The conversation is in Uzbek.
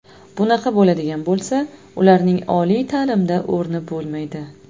Bunaqa bo‘ladigan bo‘lsa ularning oliy ta’limda o‘rni bo‘lmaydi.